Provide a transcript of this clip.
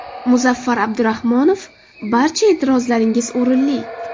Muzaffar Abdurahmonov: Barcha e’tirozlaringiz o‘rinli.